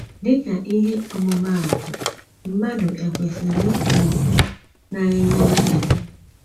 Dị ka ihe ọ̀mụ̀mụ̀átụ̀, mmadụ e kwesịrị ikpu okpù na - enye nchebe?